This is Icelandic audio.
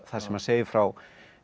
þar sem segir frá